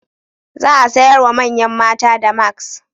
Za a sayar wa manyan mata damask.